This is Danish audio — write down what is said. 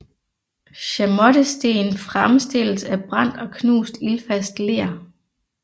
Chamottesten fremmstilles af brændt og knust ildfast ler